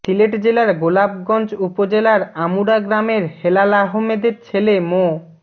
সিলেট জেলার গোলাপগঞ্জ উপজেলার আমুরা গ্রামের হেলাল আহমেদের ছেলে মো